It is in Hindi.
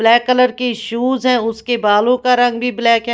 ब्लैक कलर की शूज है उसके बालों का रंग भी ब्लैक है।